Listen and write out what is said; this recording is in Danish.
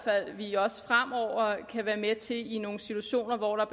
at vi også fremover kan være med til i nogle situationer hvor der